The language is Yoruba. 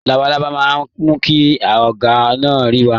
Labalábá náà mú kí ọgbà náà rẹwa.